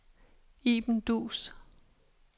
Iben Duus